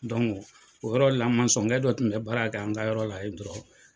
o yɔrɔ la dɔ tun bɛ baara kɛ an ka yɔrɔ la yen dɔrɔn.